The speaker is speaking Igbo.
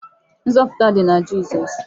Nzọpụta dị na Jizọs.